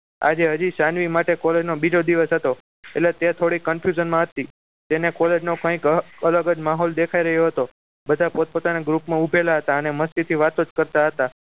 આજે હજી સાનવી માટે college નો બીજો દિવસ હતો એટલે તે થોડી confusion માં હતી તેને college નો કંઈક અલગ જ માહોલ દેખાઈ રહ્યો હતો બધા પોતપોતાના group માં ઉભેલા હતા અને મસ્તી થી વાતો કરતા હતા